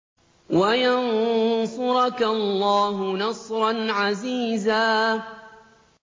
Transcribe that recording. وَيَنصُرَكَ اللَّهُ نَصْرًا عَزِيزًا